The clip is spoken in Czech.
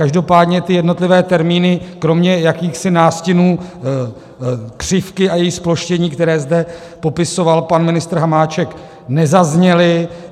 Každopádně ty jednotlivé termíny kromě jakýchsi nástinů křivky a její zploštění, které zde popisoval pan ministr Hamáček, nezazněly.